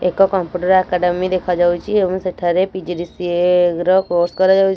ଏକ computer academy ଦେଖା ଯାଉଚି। ଏବଂ ସେଠାରେ ପି_ଜି_ଡି_ସି_ଏ ର କୋର୍ସ କରାଯାଉଚି।